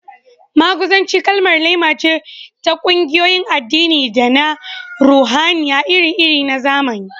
Maguzanci kalmar laima ce ta ƙungiyoyin addini da na ruhaniya iri-iri na zamani